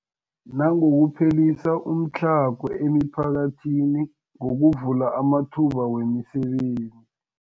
Nangokuphelisa umtlhago emiphakathini ngokuvula amathuba wemisebenzi.